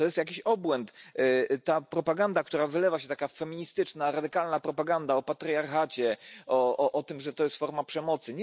To jest jakiś obłęd, ta propaganda, która wylewa się, taka feministyczna, radykalna propaganda o patriarchacie, o tym że to jest forma przemocy.